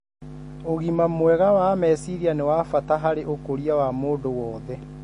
Ugima mwega wa meciria nĩ wabata harĩ ũkũria wa mundu wothe.